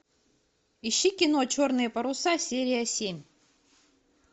ищи кино черные паруса серия семь